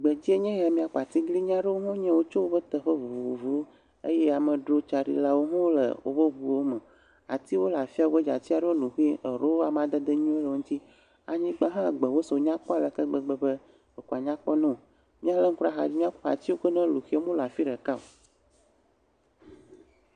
Gbedzi nye ya, míakpɔ atiglinyi aɖewo hã nye yio tso woƒe teƒe vovovowo eye amedzro tsaɖilawo hã le wobe ŋuwo me. Atiwo le afi ya godzi eye ati ɖewo lu xe, eɖewo amaded nyuiwo le wo ŋuti, anyigba hã gbewo sɔ nyakpe aleke gbegbe be ɖe ko wòanyakpɔ newo. Míalé ŋku ɖe axa dzi akpɔ atiwo melu xe o, womele afi ɖeka o.